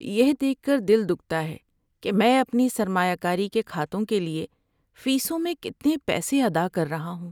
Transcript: یہ دیکھ کر دل دکھتا ہے کہ میں اپنے سرمایہ کاری کے کھاتوں کے لیے فیسوں میں کتنے پیسے ادا کر رہا ہوں۔